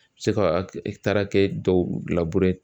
I bɛ se ka dɔw